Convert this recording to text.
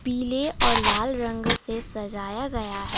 पीले और लाल रंग से सजाया गया है।